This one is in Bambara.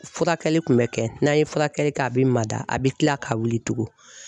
Furakɛli kun bɛ kɛ n'a ye furakɛli kɛ a bɛ mada a bɛ kila ka wili tugun